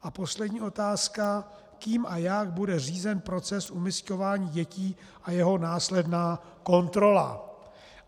A poslední otázka - kým a jak bude řízen proces umisťování dětí a jeho následná kontrola.